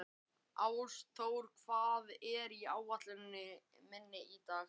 Ásþór, hvað er á áætluninni minni í dag?